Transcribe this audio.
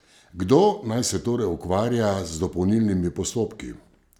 Kdo naj se torej ukvarja z dopolnilnimi postopki?